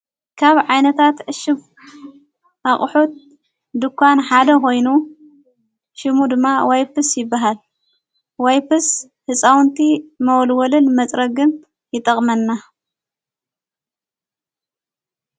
ካብ ዓይነታት እሽብ ኣቕሑት ድኳን ሓደ ኾይኑ ሽሙ ድማ ዋይፍስ ይበሃል ዋይፍስ ሕፃውንቲ መወልወልን መጽረግም ይጠቕመና።